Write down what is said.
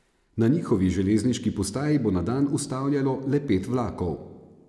Na njihovi železniški postaji bo na dan ustavljalo le pet vlakov.